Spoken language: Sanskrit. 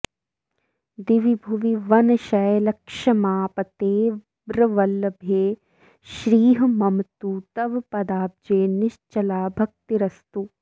दिवि भुवि वनशैलक्ष्मापतेर्वल्लभे श्रीः मम तु तव पदाब्जे निश्चला भक्तिरस्तु